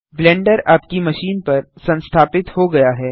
blender आपकी machine पर संस्थापित हो गया है